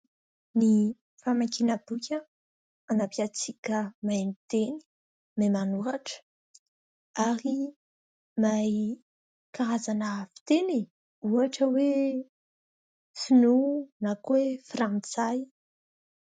Ny famakiana boky manampy antsika mahay miteny? mahay manoratra ary mahay karazana fiteny e ! Ohatra hoe sinoa na koa hoe frantsay.